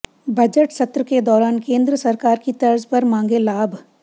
budget सत्र के दौरान केंद्र सरकार की तर्ज पर मांगे लाभ